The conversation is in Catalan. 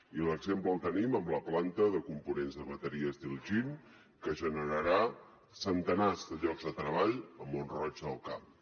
i l’exemple el tenim amb la planta de components de bateries d’iljin que generarà centenars de llocs de treball a mont roig del camp